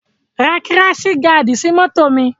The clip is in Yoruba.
Ra kíráṣì gaàdì sí mọ́tò mi!